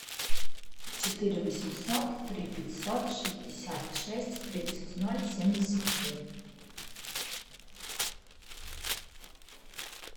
четыре восемьсот три пятьсот шестьдесят шесть тридцать ноль семьдесят три